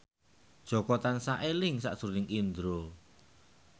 Jaka tansah eling sakjroning Indro